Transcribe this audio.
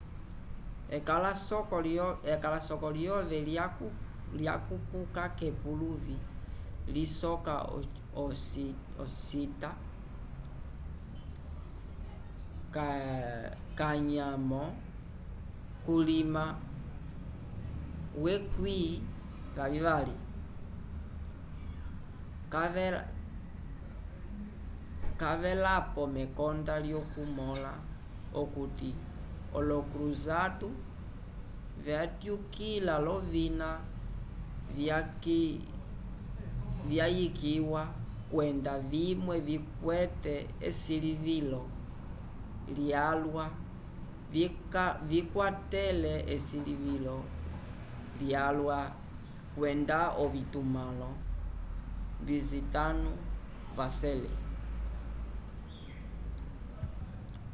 ekalasoko lyove lyakupuka k'epuluvi lisoka ocita xii cavelapo mekonda lyokumõla okuti olo cruzado vatyukila l'ovina vyayikiwa kwenda vimwe vikwete esilivilo lyalwa vyakwatele esilivilo lyalwa kwenda ovitumãlo bizatino vacele